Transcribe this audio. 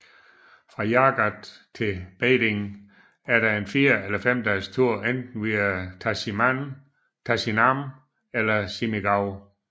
Fra Jagat til Beding er der en fire eller fem dages tur enten via Tasinam eller Simigau